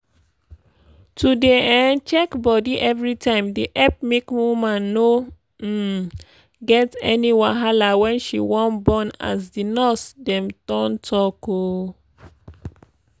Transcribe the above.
to dey um check bodi everytime dey epp make woman no um get any wahala wen she want born as di nurse dem don talk. um